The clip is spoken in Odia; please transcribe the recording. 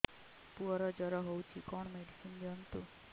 ପୁଅର ଜର ହଉଛି କଣ ମେଡିସିନ ଦିଅନ୍ତୁ